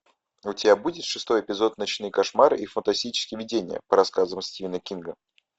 у тебя будет шестой эпизод ночные кошмары и фантастические видения по рассказам стивена кинга